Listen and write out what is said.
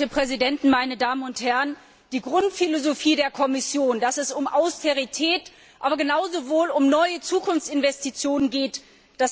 Herr Präsident, meine Herren Präsidenten, meine Damen und Herren! Die Grundphilosophie der Kommission, dass es um Austerität, aber genauso um neue Zukunftsinvestitionen geht,